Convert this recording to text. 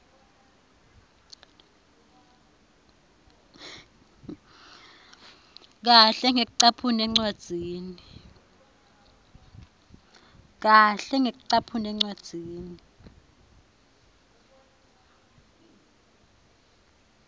kahle ngekucaphuna encwadzini